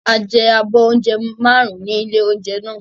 A jẹ abọ́ oúnjẹ márùn-ún ní ilé-oúnjẹ náà.